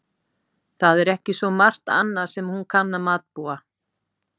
Það er ekki svo margt annað sem hún kann að matbúa.